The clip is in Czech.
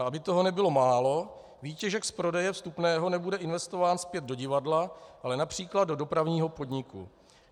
A aby toho nebylo málo, výtěžek z prodeje vstupného nebude investován zpět do divadla, ale například do dopravního podniku.